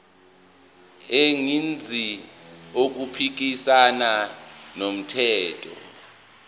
engenzi okuphikisana nomthetho